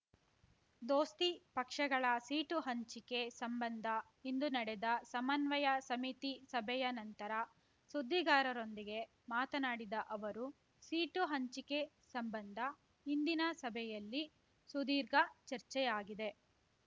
ದೋಸ್ತಿ ಪಕ್ಷಗಳ ಸೀಟು ಹಂಚಿಕೆ ಸಂಬಂಧ ಇಂದು ನಡೆದ ಸಮನ್ವಯ ಸಮಿತಿ ಸಭೆಯ ನಂತರ ಸುದ್ದಿಗಾರರೊಂದಿಗೆ ಮಾತನಾಡಿದ ಅವರು ಸೀಟು ಹಂಚಿಕೆ ಸಂಬಂಧ ಇಂದಿನ ಸಭೆಯಲ್ಲಿ ಸುದೀರ್ಘ ಚರ್ಚೆಯಾಗಿದೆ